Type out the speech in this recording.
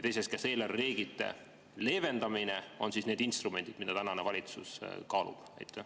Teiseks: kas eelarvereeglite leevendamine on see instrument, mida tänane valitsus kaalub?